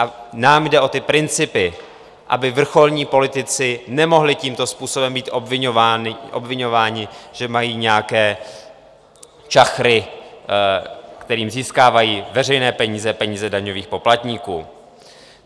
A nám jde o ty principy, aby vrcholní politici nemohli tímto způsobem být obviňováni, že mají nějaké čachry, kterými získávají veřejné peníze, peníze daňových poplatníků.